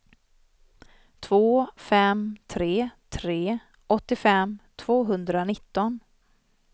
två fem tre tre åttiofem tvåhundranitton